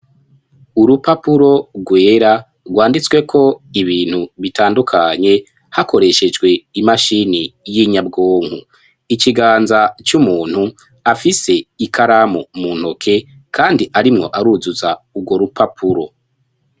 Urupapuro rwera, rwanditsweko ibintu bitandukanye hakoreshejwe imashini y'inyabwonko, ikiganza c'umuntu afise ikaramu muntoke, kandi arimwo aruzuza urwo rupapuro.